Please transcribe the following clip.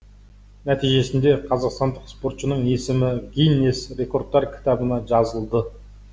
нәтижесінде қазақстандық спортшының есімі гиннес рекордтар кітабына жазылды